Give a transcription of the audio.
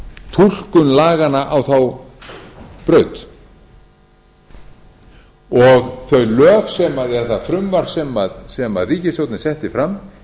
túlkun laganna á þá braut og í þeim lögum eða því frumvarpi sem ríkisstjórnin setti fram